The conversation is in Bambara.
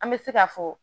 An bɛ se ka fɔ